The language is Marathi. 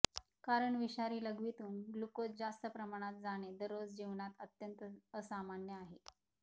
कारण विषारी लघवीतून ग्लूकोज जास्त प्रमाणात जाणे दररोज जीवनात अत्यंत असामान्य आहे